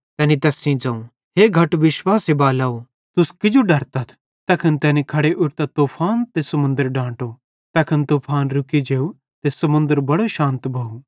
तैनी तैन सेइं ज़ोवं हे घट विश्वासे बालाव तुस किजो डरतथ तैखन तैनी खड़े उट्ठतां तूफान त समुन्दर डांटो तैखने तूफान रुकी जेव त समुन्दर बड़े शानत भोव